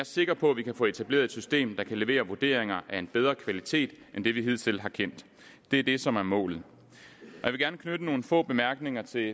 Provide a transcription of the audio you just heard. sikker på at vi kan få etableret et system der kan levere vurderinger af en bedre kvalitet end den vi hidtil har kendt det er det som er målet jeg vil gerne knytte nogle få bemærkninger til